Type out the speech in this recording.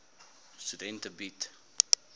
studente bied